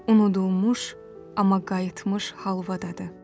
Unudulmuş, amma qayıtmış halvadadı.